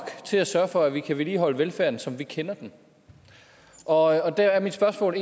til at sørge for at vi kan vedligeholde velfærden som vi kender den og der er mit spørgsmål